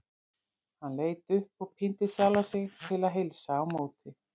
Hann leit upp og píndi sjálfan sig til að heilsa á móti.